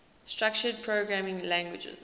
structured programming languages